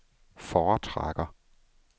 foretrækker